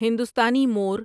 ہندوستانی مور